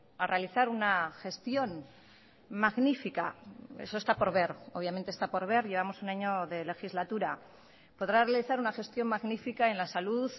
a realizar una gestión magnifica eso está por ver obviamente está por ver llevamos un año de legislatura podrá realizar una gestión magnifica en la salud